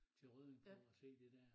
Til Rødding for at set det dér